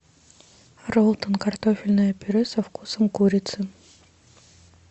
роллтон картофельное пюре со вкусом курицы